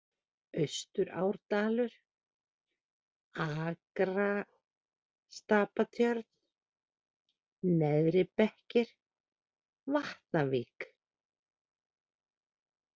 Austurárdalur, Akrastapatjörn, Neðri-Bekkir, Vatnavík